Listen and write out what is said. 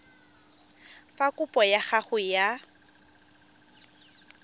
fa kopo ya gago ya